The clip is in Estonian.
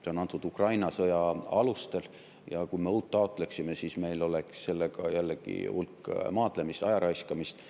Ta on antud Ukraina sõja alustel ja kui me uut taotleksime, siis meil oleks sellega jällegi hulk maadlemist, aja raiskamist.